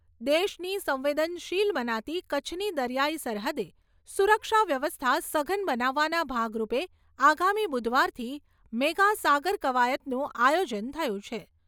દેશની સંવેદનશીલ મનાતી કચ્છની દરિયાઈ સરહદે સુરક્ષા વ્યવસ્થા સઘન બનાવવાના ભાગરૂપે આગામી બુધવારથી મેગા સાગર કવાયતનું આયોજન થયું છે.